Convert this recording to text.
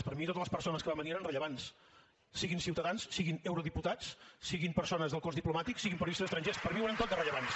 per mi totes les persones que van venir eren rellevants siguin ciutadans siguin eurodiputats siguin persones del cos diplomàtic siguin periodistes estrangers per mi ho eren tots de rellevants